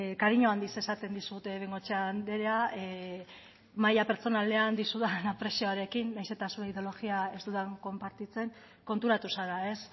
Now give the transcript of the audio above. kariño handiz esaten dizut bengoechea andrea maila pertsonalean dizudan aprezioarekin nahiz eta zure ideologia ez dudala konpartitzen konturatu zara ez